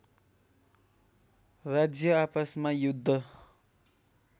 राज्य आपसमा युद्ध